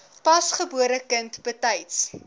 pasgebore kind betyds